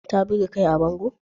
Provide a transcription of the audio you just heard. Ta buge kai a bango?